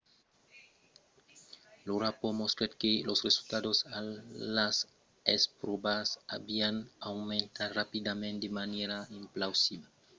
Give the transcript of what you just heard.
lo rapòrt mostrèt que los resultats a las espròvas avián aumentat rapidament de manièra implausibla e alleguèt que l'escòla aviá detectat los problèmas intèrnament mas aviá pas agit aprèp la descobèrta